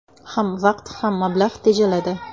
Ham vaqt, ham mablag‘ tejaladi.